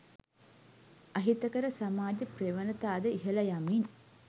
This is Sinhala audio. අහිතකර සමාජ ප්‍රවණතාද ඉහළ යමින්